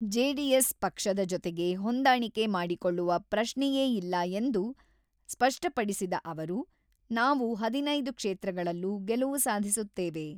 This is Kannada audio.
ಜೆಡಿಎಸ್ ಪಕ್ಷದ ಜೊತೆಗೆ ಹೊಂದಾಣಿಕೆ ಮಾಡಿಕೊಳ್ಳುವ ಪ್ರಶ್ನೆಯೇ ಇಲ್ಲ ಎಂದು ಸ್ಪಷ್ಟಪಡಿಸಿದ ಅವರು, ನಾವು ಹದಿನೈದು ಕ್ಷೇತ್ರಗಳಲ್ಲೂ ಗೆಲುವು ಸಾಧಿಸುತ್ತೇವೆ.